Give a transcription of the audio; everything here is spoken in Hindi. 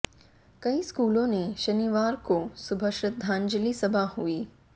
कई स्कूलों ने शनिवार को सुबह श्रद्धांजलि सभा हुई